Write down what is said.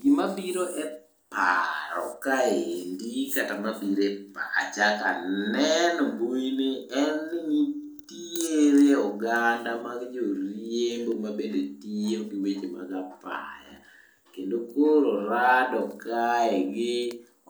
Gimabiro e paro kaendi kata mabiro e pacha kaneno mbuini en ni nitiere oganda mag joriembo mabende tiyo gi weche mag apaya. Kendo koro orado gi